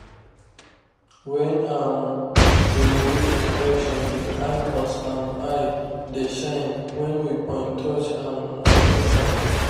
when um we dey do inspection the animals um eye dey shine when we point torch um for inside